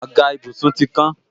Àga ìbùsùn ti kán